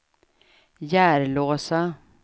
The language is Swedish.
Järlåsa